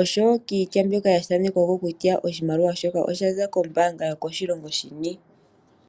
osho woo kiitya mbyoka yathanekwako kutya oshimaliwa shoka oshaza kombaanga yini.